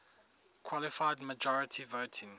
qualified majority voting